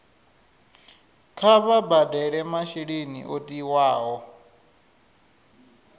kha vha badele masheleni o tiwaho